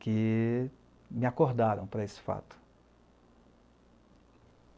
que me acordaram para esse fato.